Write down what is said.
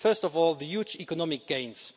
First of all, the huge economic gains.